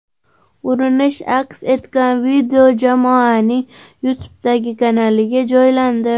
Urinish aks etgan video jamoaning YouTube’dagi kanaliga joylandi .